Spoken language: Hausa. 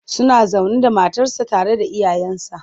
Suna zaune da matarsa tare da iyayensa.